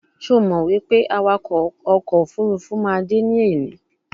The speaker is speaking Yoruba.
Sho Mo wipe awako oko ofurufu ma de ni eni?